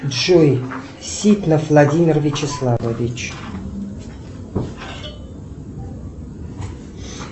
джой ситнов владимир вячеславович